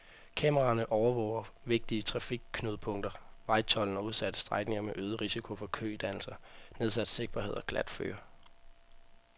Kameraerne overvåger vigtige trafikknudepunkter, vejtolden og udsatte strækninger med øget risiko for kødannelser, nedsat sigtbarhed og glatføre.